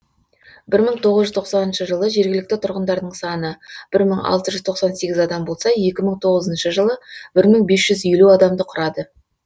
бір мың тоғыз жүз тоқсаншы жылы жергілікті тұрғындар саны бір мың алты жүз тоқсан сегіз адам болса екі мың тоғызыншы жылы бір мың бес жүз елу адамды құрады